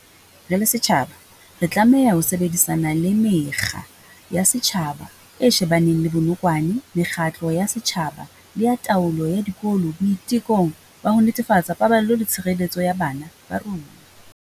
Re le setjhaba, re tlameha ho sebedisana le Mekga ya Setjhaba e shebaneng le Bonokwane mekgatlo ya setjhaba le ya taolo ya dikolo boitekong ba ho netefatsa paballo le tshireletso ya bana ba rona.